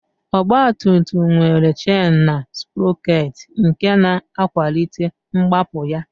Ọgbatumtum nwere chen na sprọkeetị nke na-akwalite mgbapụ ya